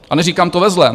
A neříkám to ve zlém.